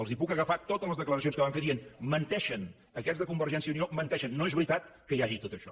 els puc agafar totes les declaracions que van fer dient menteixen aquests de convergència i unió menteixen no és veritat que hi hagi tot això